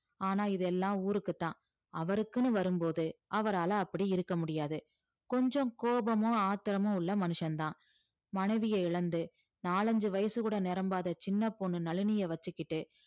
ஆனா இதெல்லாம் ஊருக்குத்தான் அவருக்குன்னு வரும்போது அவரால அப்படி இருக்க முடியாது கொஞ்சம் கோபமும் ஆத்திரமும் உள்ள மனுஷன்தான் மனைவியை இழந்து நாலஞ்சு வயசு கூட நிரம்பாத சின்னப் பொண்ணு நளினிய வச்சுக்கிட்டு